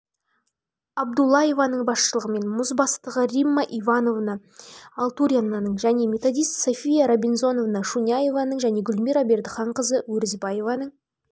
абдуллаеваның басшылығымен музбастығы римма ивановна алтуринаның және методист софья рабинзоновна шуняеваның және гүлмира бердіханқызы өрізбаеваның